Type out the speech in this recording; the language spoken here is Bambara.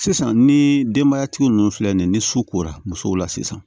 Sisan ni denbayatigi ninnu filɛ nin ye ni su kora muso la sisan